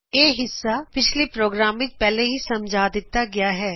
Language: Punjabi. ਇਹ ਹਿੱਸਾ ਪਿਛਲੇ ਪ੍ਰੋਗਰਾਮ ਵਿਚ ਪਹਿਲੇ ਹੀ ਸਮਝਾ ਦਿਤਾ ਗਿਆ ਹੈ